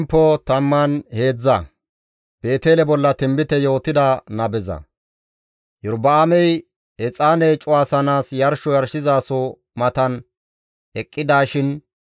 Iyorba7aamey exaane cuwasanaas yarsho yarshizaso matan eqqidishin GODAA qaalan kiitettida Xoossa asi Yuhudappe Beetele yides.